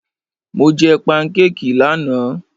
Mo jẹ pankékì lánàá.